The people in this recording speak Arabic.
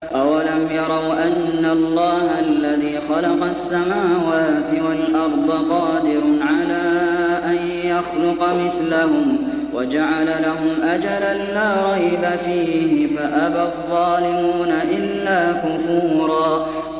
۞ أَوَلَمْ يَرَوْا أَنَّ اللَّهَ الَّذِي خَلَقَ السَّمَاوَاتِ وَالْأَرْضَ قَادِرٌ عَلَىٰ أَن يَخْلُقَ مِثْلَهُمْ وَجَعَلَ لَهُمْ أَجَلًا لَّا رَيْبَ فِيهِ فَأَبَى الظَّالِمُونَ إِلَّا كُفُورًا